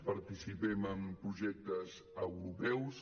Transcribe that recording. participem en projectes europeus